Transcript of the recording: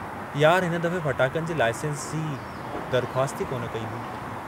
हिन दफ़े फटाकनि जे लाइसेंस जी दरख्वास्त ई कोन कई हुई।